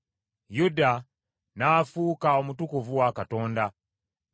Yuda n’afuuka omutukuvu wa Katonda, Isirayiri n’afuuka amatwale ge.